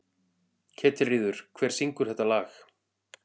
Ketilríður, hver syngur þetta lag?